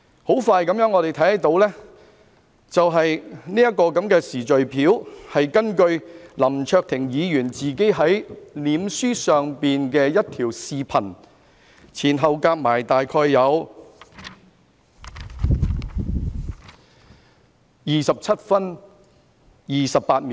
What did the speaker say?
我們看到的這個時序表，是根據林卓廷議員在面書上的一段視頻，前後長度大約為27分28秒。